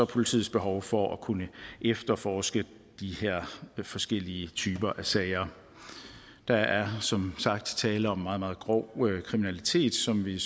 politiets behov for at kunne efterforske de her forskellige typer af sager der er som sagt tale om meget meget grov kriminalitet som vi